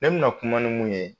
Ne bɛna na kuma ni mun ye